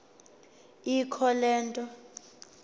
ikho le nto